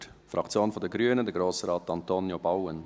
Für die Fraktion der Grünen, Grossrat Antonio Bauen.